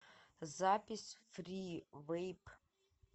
запись фривэйп